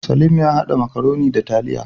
Salim ya hada makaroni da taliya